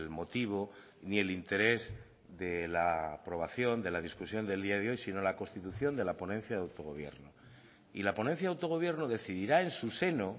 motivo ni el interés de la aprobación de la discusión del día de hoy sino la constitución de la ponencia de autogobierno y la ponencia de autogobierno decidirá en su seno